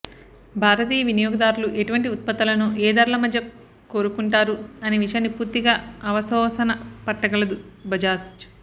భారతీయ వినియోగదారులు ఎటువంటి ఉత్పత్తులను ఏ ధరల మధ్య కోరుకుంటారు అనే విషయాన్ని పూర్తిగా అవపోసన పట్టగలదు బజాజ్